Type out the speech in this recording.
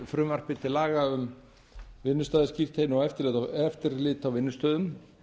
frumvarpi til laga um vinnustaðaskírteini og eftirlit á vinnustöðum